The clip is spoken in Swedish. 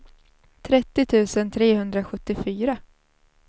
trettio tusen trehundrasjuttiofyra